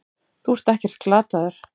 Þú ert ekkert glataður.